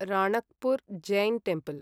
Ranakpur Jain temple